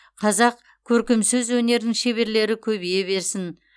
қазақ көркем сөз өнерінің шеберлері көбейе берсін